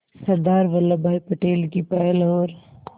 सरदार वल्लभ भाई पटेल की पहल और